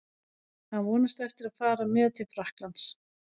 Hann vonast eftir að fara með til Frakklands.